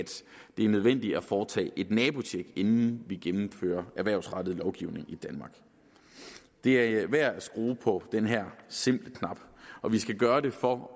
det er nødvendigt at foretage et nabotjek inden vi gennemfører erhvervsrettet lovgivning i danmark det er værd at skrue på den her simple knap og vi skal gøre det for